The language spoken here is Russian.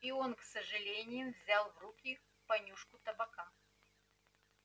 и он с сожалением взял в руки понюшку табака